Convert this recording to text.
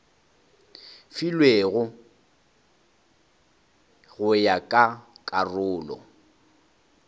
filwego go ya ka karolo